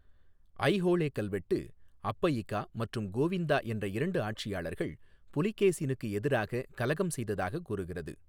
ஐஹோளே கல்வெட்டு, அப்பயிகா மற்றும் கோவிந்தா என்ற இரண்டு ஆட்சியாளர்கள் புலகேசினுக்கு எதிராக கலகம் செய்ததாக கூறுகிறது.